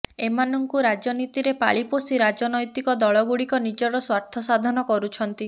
ଏମାନଙ୍କୁ ରାଜନୀତିରେ ପାଳି ପୋଷି ରାଜନୈତିକ ଦଳ ଗୁଡିକ ନିଜର ସ୍ବାର୍ଥ ସାଧନ କରୁଛନ୍ତି